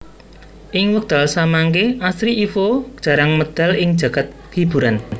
Ing wekdal samangke Astri Ivo jarang medal ing jagad hiburan